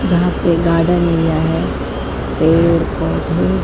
यहां पे garden area है पेड़ पोधे --